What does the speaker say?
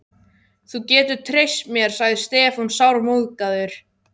Þú getur treyst mér, sagði Stefán sármóðgaður.